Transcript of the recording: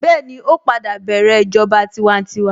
Bẹ́ẹ̀ni, ó padà bẹ̀rẹ̀ ìjọba tiwantiwa